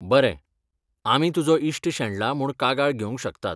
बरें, आमी तुजो इश्ट शेणला म्हूण कागाळ घेवंक शकतात.